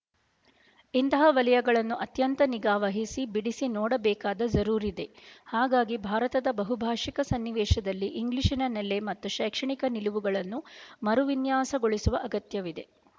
ಇಂತಹ ವಲಯಗಳನ್ನು ಅತ್ಯಂತ ನಿಗಾವಹಿಸಿ ಬಿಡಿಸಿ ನೋಡಬೇಕಾದ ಜರೂರಿದೆ ಹಾಗಾಗಿ ಭಾರತದ ಬಹುಭಾಶಿಕ ಸನ್ನಿವೇಶದಲ್ಲಿ ಇಂಗ್ಲಿಶಿನ ನೆಲೆ ಮತ್ತು ಶೈಕ್ಷಣಿಕ ನಿಲುವುಗಳನ್ನು ಮರುವಿನ್ಯಾಸಗೊಳಿಸುವ ಅಗತ್ಯವಿದೆ